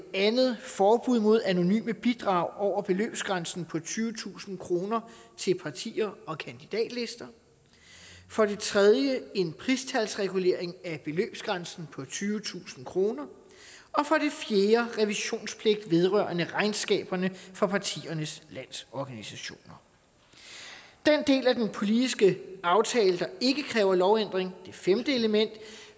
andet forbud mod anonyme bidrag over beløbsgrænsen på tyvetusind kroner til partier og kandidatlister for det tredje en pristalsregulering af beløbsgrænsen på tyvetusind kroner og for det fjerde revisionspligt vedrørende regnskaberne for partiernes landsorganisationer den del af den politiske aftale der ikke kræver lovændring det femte element